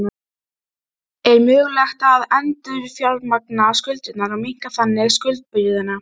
Loks virðast mörg skipti ekki hafa merkjanleg áhrif á virknina.